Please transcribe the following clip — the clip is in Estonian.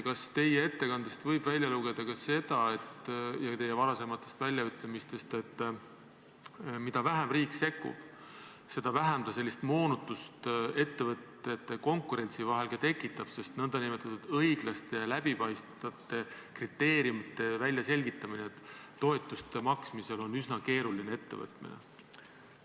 Kas teie ettekandest ja teie varasematest väljaütlemistest võib välja lugeda ka seda, et mida vähem riik sekkub, seda vähem ta sellist konkurentsimoonutust ettevõtjate vahel tekitab, sest nn õiglaste ja läbipaistvate kriteeriumite väljaselgitamine toetuste maksmisel on üsna keeruline ettevõtmine?